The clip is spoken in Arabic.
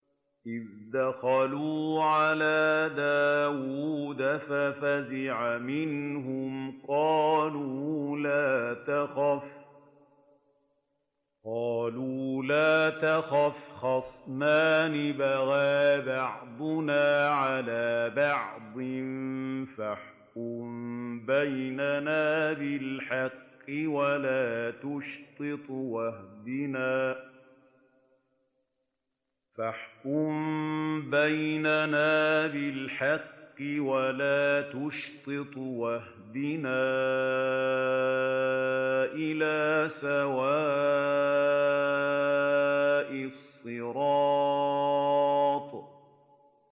إِذْ دَخَلُوا عَلَىٰ دَاوُودَ فَفَزِعَ مِنْهُمْ ۖ قَالُوا لَا تَخَفْ ۖ خَصْمَانِ بَغَىٰ بَعْضُنَا عَلَىٰ بَعْضٍ فَاحْكُم بَيْنَنَا بِالْحَقِّ وَلَا تُشْطِطْ وَاهْدِنَا إِلَىٰ سَوَاءِ الصِّرَاطِ